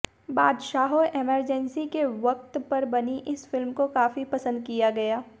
Baadshaho emergency के व्कत पर बनी इस फिल्म को काफी पसंद किया गया